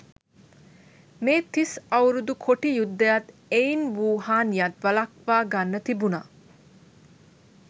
මේ තිස් අවුරුදු කොටි යුද්ධයත් එයින් වූ හානියත් වලක්වා ගන්න තිබුණා.